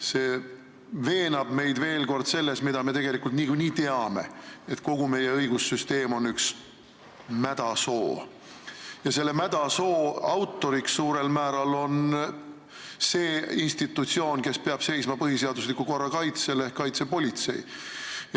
See veenab meid veel kord selles, mida me tegelikult niikuinii teame: kogu meie õigussüsteem on üks mädasoo ja selle autor suurel määral on see institutsioon, kes peab seisma põhiseadusliku korra kaitse eest, ehk kaitsepolitsei.